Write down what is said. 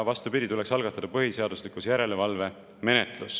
Vastupidi, tuleks algatada põhiseaduslikkuse järelevalve menetlus.